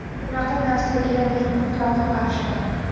Bunaqa narsaga men mutlaqo qarshiman.